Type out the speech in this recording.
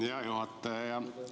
Hea juhataja!